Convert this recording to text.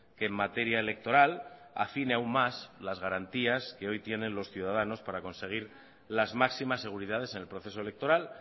que en materia electoral afine aún más las garantías que hoy tienen los ciudadanos para conseguir las máximas seguridades en el proceso electoral